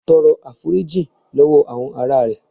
Tọrọ àforíjìn lọwọ àwọn ará rẹ.